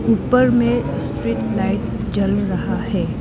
ऊपर में street light जल रहा है।